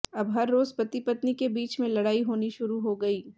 अब हर रोज पति पत्नी के बीच में लड़ाई होनी शुरु हो गई